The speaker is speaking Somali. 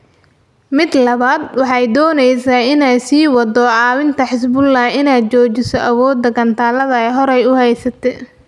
Midda labaad, waxay doonaysaa inay sii waddo caawinta Xisbullah inay xoojiso awoodda gantaallada ay horay u haysatay.